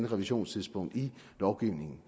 revisionstidspunkt i lovgivningen